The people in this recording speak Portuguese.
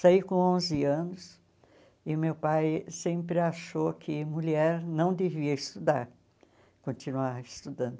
Saí com onze anos e meu pai sempre achou que mulher não devia estudar, continuar estudando.